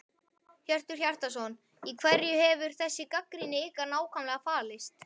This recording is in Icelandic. Hjörtur Hjartarson: Í hverju hefur þessi gagnrýni ykkar nákvæmlega falist?